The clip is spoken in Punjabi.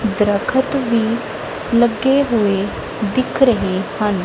ਦਰਖਤ ਵੀ ਲੱਗੇ ਹੋਏ ਦਿਖ ਰਹੇ ਹਨ।